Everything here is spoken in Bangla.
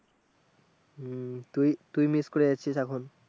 উম তুই তুই মিস করে যাচ্ছিস তখন